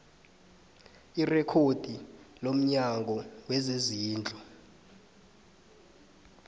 irekhodi lomnyango wezezindlu